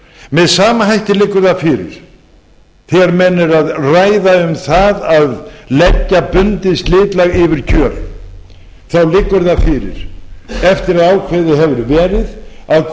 með sama hætti liggur það fyrir þegar menn eru að ræða um það að leggja bundið slitlag yfir kjöl þá liggur það fyrir eftir að ákveðið hefur verið að